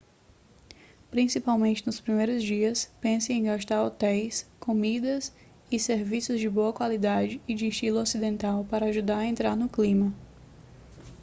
principalmente nos primeiros dias pense em gastar em hotéis comidas e serviços de boa qualidade e de estilo ocidental para ajudar a entrar no clima